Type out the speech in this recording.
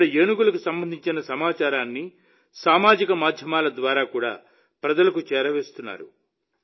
ఇక్కడ ఏనుగులకు సంబంధించిన సమాచారాన్ని సామాజిక మాధ్యమాల ద్వారా కూడా ప్రజలకు చేరవేస్తున్నారు